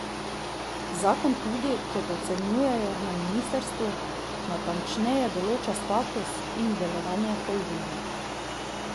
Zakon tudi, kot ocenjujejo na ministrstvu, natančneje določa status in delovanje holdinga.